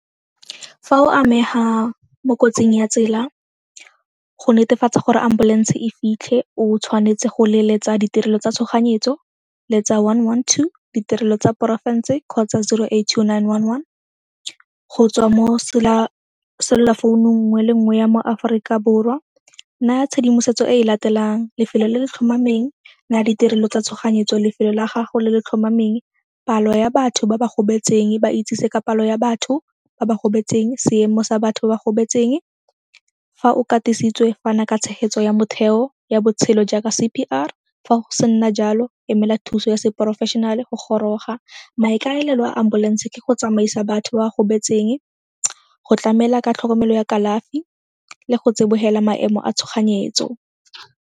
Fa o amega mo kotsing ya tsela, go netefatsa gore ambulance e fitlhe o tshwanetse go leletsa ditirelo tsa tshoganyetso, letsa one, one, two, ditirelo tsa porofense kgotsa zero, eight, two, nine, one, one, go tswa mo cellular founu nngwe le nngwe ya mo Aforika Borwa. Naya tshedimosetso e e latelang, lefelo le le tlhomameng, ditirelo tsa tshoganyetso, lefelo la gago le le tlhomameng, palo ya batho ba ba gobetseng, ba itsise ka palo ya batho ba ba gobetseng, seemo sa batho ba ba gobetseng. Fa o katisitswe, fana ka tshegetso ya motheo ya botshelo jaaka C_P_R, fa go sena jalo emela thuso ya se-professional-e go goroga. Maikaelelo a ambulance ke go tsamaisa batho ba ba gobetseng, go tlamela ka tlhokomelo ya kalafi le go tsibogela maemo a tshoganyetso.